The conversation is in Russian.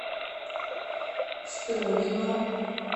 струнино